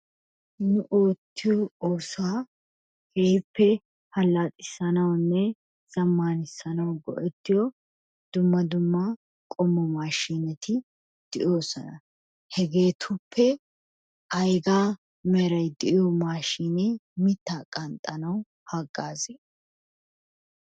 Nu oottiyo oosota keehippe allaxisanawunne zammaanissanawu go"ettiyo dumma dumma qommo maashiineti de'oosona. Hegeetuppe aygaa meray de"iyo maashiinee mittaa qanxxanaw haggazii?